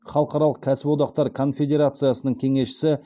халықаралық кәсіподақтар конфедерациясының кеңесшісі